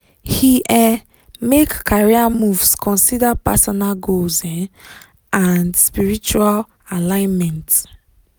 he um make career moves consider personal goals um and spiritual alignment.